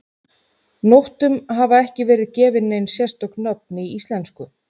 Nóttum hafa ekki verið gefin nein sérstök nöfn í íslensku.